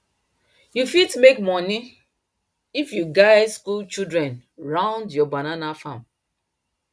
you fit make money if you guide school children round your banana farm